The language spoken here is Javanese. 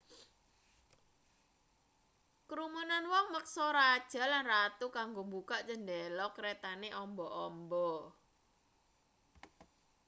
krumunan wong meksa raja lan ratu kanggo mbukak chendela kretane amba-amba